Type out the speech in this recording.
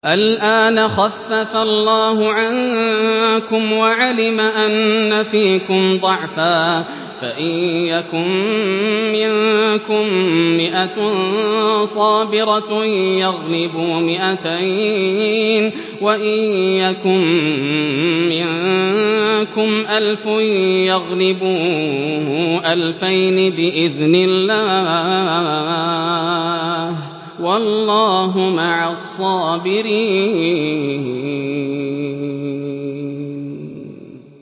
الْآنَ خَفَّفَ اللَّهُ عَنكُمْ وَعَلِمَ أَنَّ فِيكُمْ ضَعْفًا ۚ فَإِن يَكُن مِّنكُم مِّائَةٌ صَابِرَةٌ يَغْلِبُوا مِائَتَيْنِ ۚ وَإِن يَكُن مِّنكُمْ أَلْفٌ يَغْلِبُوا أَلْفَيْنِ بِإِذْنِ اللَّهِ ۗ وَاللَّهُ مَعَ الصَّابِرِينَ